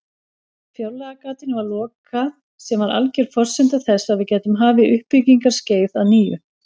Fjárlagagatinu var lokað sem var alger forsenda þess að við gætum hafið uppbyggingarskeið að nýju.